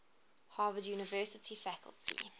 harvard university faculty